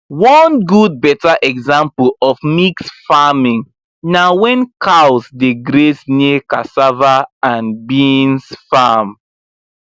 one good better example of mixed farming na when cows dey graze near cassava and beans farm